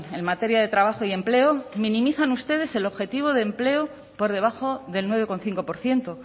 en materia de trabajo y empleo minimizan ustedes el objetivo de empleo por debajo del nueve coma cinco por ciento